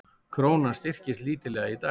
Krónan styrktist lítillega í dag